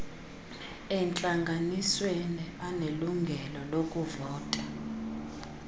entlanganisweni anelungelo lokuvota